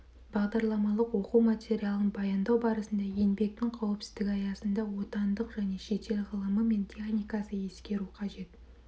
бағдарламалық оқу материалын баяндау барысында еңбектің қауіпсіздігі аясында отандық және шетел ғылымы мен техникасы ескеру қажет